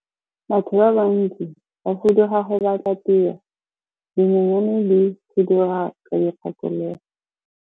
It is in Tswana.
Batho ba bantsi ba fuduga go batla tiro, dinonyane di fuduga ka dikgakologo.